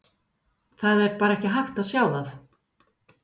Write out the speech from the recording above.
Það er bara hægt að sjá það.